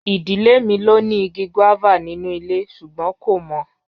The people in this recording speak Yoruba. Idile mi lo ni igi guava ninu ile sugbon ko mo.